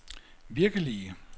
virkelige